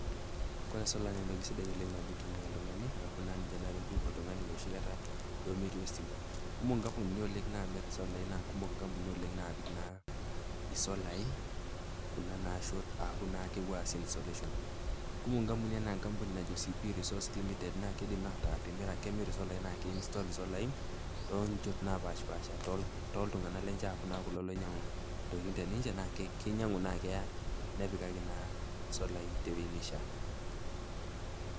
Kore solar na entoki sidai tenitumia oltungani aku ninche naretu oltungani enoshi kata duo metii ositima, ketii nkampunini kumok namir solar nakumok nkampunini kumok namir password kuna napuo aas installation kumok nkampunini anaa enajo cp resource limited nakemir isolai na ke install solai tonchot napashipasha, oltunganak lenye metaa nche oinyangu ntokitin teninche, kinyangu na keya nepikaki na solai tewueji nishaa